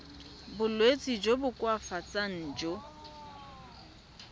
bolwetsi jo bo koafatsang jo